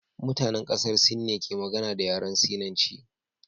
Mutanen kasar Sin ne ke magana da yaren Sinanci